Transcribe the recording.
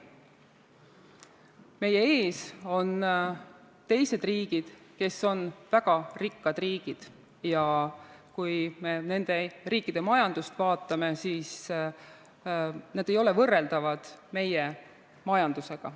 Meie ees on teised riigid, kes on väga rikkad, ja kui me nende riikide majandust vaatame, siis need ei ole võrreldavad meie majandusega.